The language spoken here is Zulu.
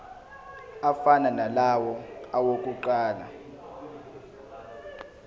afana nalawo awokuqala